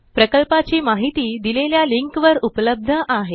प्रकल्पाची माहिती दिलेल्या लिंकवर उपलब्ध आहे